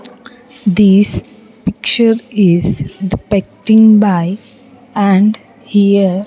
This picture is depicting by and here --